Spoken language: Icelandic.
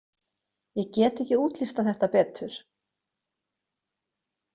Ég get ekki útlistað þetta betur.